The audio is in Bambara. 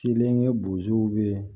Kelen ye bozow be yen